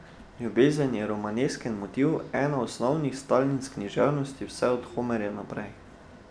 Ljubezen je romanesken motiv, ena osnovnih stalnic književnosti vse od Homerja naprej.